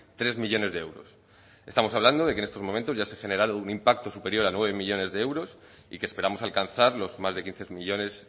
tres millónes de euros estamos hablando de que en estos momentos ya se ha generado un impacto superior a nueve millónes de euros y que esperamos alcanzar los más de quince millónes